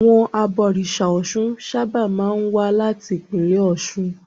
Àwọn abọ̀rìṣà Ọ̀ṣun sábà máa ń wá láti ìpínlẹ̀ Ọ̀ṣun.